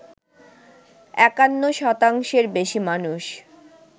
৫১ শতাংশের বেশি মানুষ